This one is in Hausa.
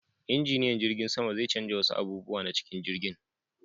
Injiniyan jirgin sama zai canja wasu abubuwa na cikin jirgin.